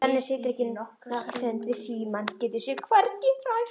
Svenni situr nokkra stund við símann, getur sig hvergi hrært.